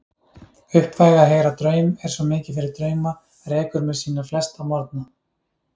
Uppvæg að heyra draum, er svo mikið fyrir drauma, rekur mér sína flesta morgna.